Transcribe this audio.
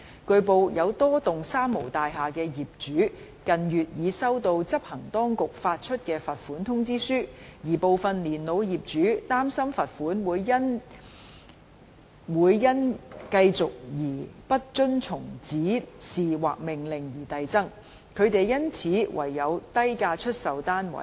據報，有多幢三無大廈的業主近月已收到執行當局發出的罰款通知書，而部分年老業主擔心罰款會因繼續不遵從指示或命令而遞增，他們因此唯有低價出售單位。